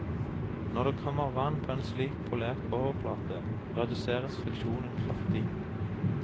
Når det kommer vann på en slik polert overflate, reduseres friksjonen kraftig.